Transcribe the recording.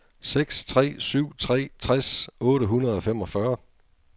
seks tre syv tre tres otte hundrede og femogfyrre